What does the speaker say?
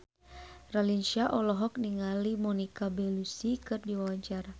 Raline Shah olohok ningali Monica Belluci keur diwawancara